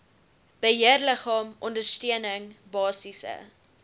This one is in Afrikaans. beheerliggaam ondersteuning basiese